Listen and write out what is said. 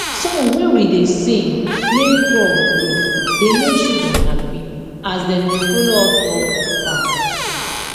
song wey we da sing make crop grow da make children happy as dem da follow us work for farm